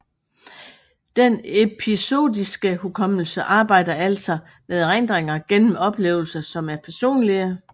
Den episodiske hukommelse arbejder altså med erindringer gennem oplevelser som er personlige